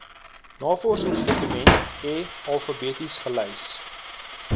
navorsingsdokumente alfabeties gelys